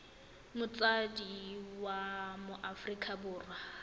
motsadi wa mo aforika borwa